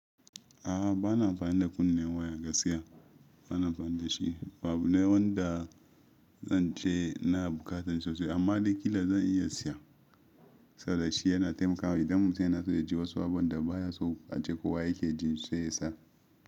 A'a bana amfani da kunnen waya gaskiya bana amfani da shi. Abu wanda zan ce na buƙata sosai amma daƙila zan iya siya saboda shi yana taimakawa idan mutum yana so ya ji wasu abubuwan da baya so a ce ko wa yake ji sai yasa.